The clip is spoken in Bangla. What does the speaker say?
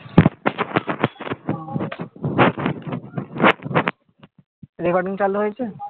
recording চালু হয়েছে?